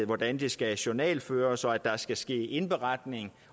hvordan det skal journalføres og at der skal ske indberetning